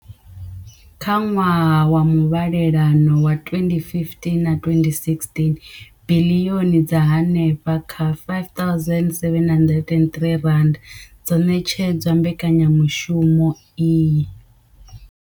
Kha ṅwaha wa muvhalelano wa 2015na 20116, biḽioni dza henefha kha R5 703 dzo ṋetshedzwa mbekanyamushumo iyi.